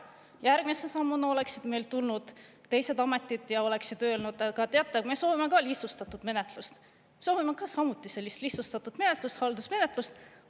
Järgmise sammuna oleksid meil tulnud teised ametid ja oleksid öelnud: "Aga teate, me soovime ka lihtsustatud menetlust, me soovime samuti sellist lihtsustatud menetlust, haldusmenetlust.